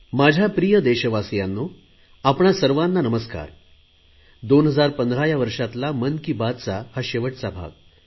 माझ्या प्रिय देशवासियांनो आपणा सर्वांना नमस्कार 2015 या वर्षातला मन की बातचा हा शेवटचा भाग